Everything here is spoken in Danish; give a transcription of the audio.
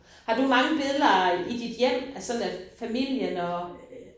Har du mange billeder i dit hjem? Af sådan af familien og